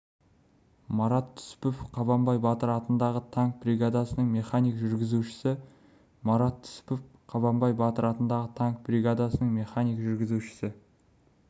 марат түсіпов қабанбай батыр атындағы танк бригадасының механик-жүргізушісі марат түсіпов қабанбай батыр атындағы танк бригадасының механик-жүргізушісі